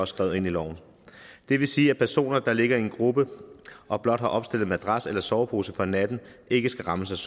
skrevet ind i loven det vil sige at personer der ligger i en gruppe og blot har opstillet madras eller sovepose for natten ikke skal rammes